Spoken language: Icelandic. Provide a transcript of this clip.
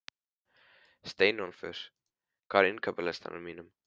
Steinólfur, hvað er á innkaupalistanum mínum?